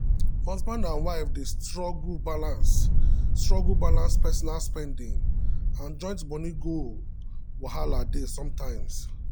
husband and wife dey struggle balance struggle balance personal spending and joint money goal wahala dey sometimes.